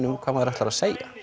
um hvað maður ætlar að segja